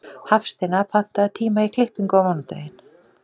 Hafsteina, pantaðu tíma í klippingu á mánudaginn.